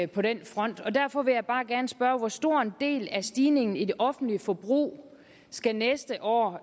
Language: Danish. på den front derfor vil jeg bare gerne spørge hvor stor en del af stigningen i det offentlige forbrug skal næste år